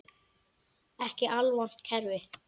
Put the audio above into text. Ekki alvont kerfi.